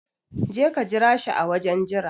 Jeka ka jira shi a wajen jira